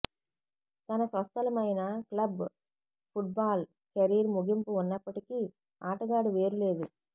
తన స్వస్థలమైన club football career ముగింపు ఉన్నప్పటికీ ఆటగాడు వేరు లేదు